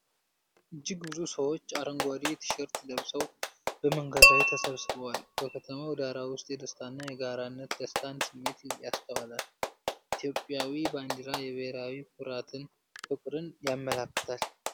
እጅግ ብዙ ሰዎች አረንጓዴ ቲ-ሸርት ለብሰው በመንገድ ላይ ተሰብስበዋል፤ በከተማው ዳራ ውስጥ የደስታ እና የጋራነት (ደስታን) ስሜት ይስተዋላል። ኢትዮጵያዊ ባንዲራ የብሔራዊ ኩራትን (ፍቅርን) ያመለክታል።